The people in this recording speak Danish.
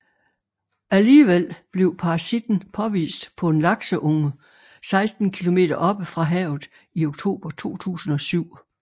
Alligevel blev parasitten påvist på en lakseunge 16 kilometer oppe fra havet i oktober 2007